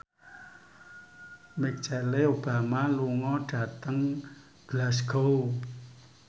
Michelle Obama lunga dhateng Glasgow